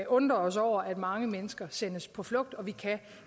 undre os over at mange mennesker sendes på flugt og vi kan